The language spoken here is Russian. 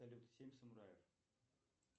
салют семь самураев